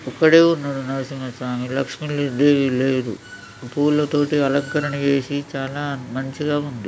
ఒక్కడే ఉన్నడు నరసింహస్వామి. లక్ష్మీలే--లక్ష్మీదేవి లేదు. పూలతోట అలంకరణ చేసి చాలా మంచిగా ఉన్నది.